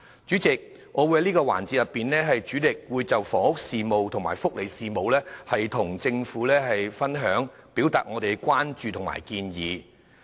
主席，在這個環節，我會主力就房屋事務及福利事務向政府表達我們的關注及建議。